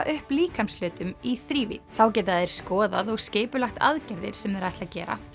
upp líkamshlutum í þrívídd þá geta þeir skoðað og skipulagt aðgerðir sem þeir ætla að gera